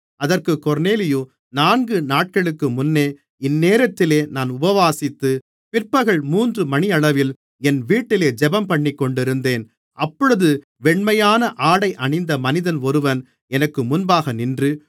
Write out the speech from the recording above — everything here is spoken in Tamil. அதற்குக் கொர்நேலியு நான்கு நாட்களுக்கு முன்னே இந்நேரத்திலே நான் உபவாசித்து பிற்பகல் மூன்று மணியளவில் என் வீட்டிலே ஜெபம்பண்ணிக்கொண்டிருந்தேன் அப்பொழுது வெண்மையான ஆடை அணிந்த மனிதன் ஒருவன் எனக்கு முன்பாக நின்று